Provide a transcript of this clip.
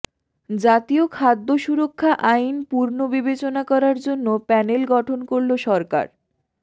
জাতীয় খাদ্য সুরক্ষা আইন পুর্নবিবেচনা করার জন্য প্যানেল গঠন করল সরকার